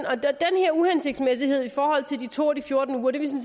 her uhensigtsmæssighed i forhold til to af de fjorten uger